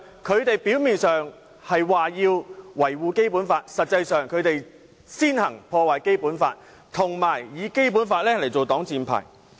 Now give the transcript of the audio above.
他們表面上說道要維護《基本法》，但實際上，他們卻先行破壞《基本法》，並且以《基本法》作擋箭牌。